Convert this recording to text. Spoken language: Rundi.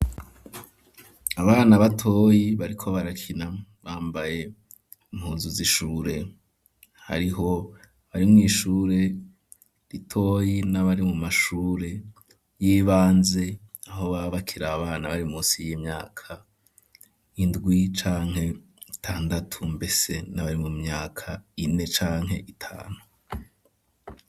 Abana batoyi bariko barakina bambaye mpunzu z'ishure hariho bari mu ishure ritoyi n'abari mu mashure y'ibanze aho babakira abana bari munsi y'imyaka indwi canke itandatu mbese n'abari mu myaka ine canke itanu.